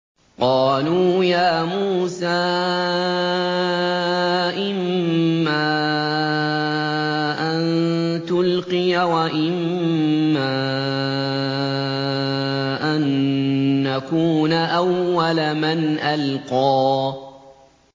قَالُوا يَا مُوسَىٰ إِمَّا أَن تُلْقِيَ وَإِمَّا أَن نَّكُونَ أَوَّلَ مَنْ أَلْقَىٰ